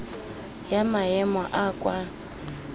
ya maemo a a kwa